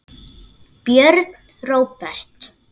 Björn Róbert.